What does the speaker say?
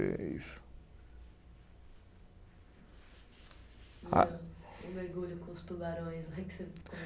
é isso. O mergulho com os tubarões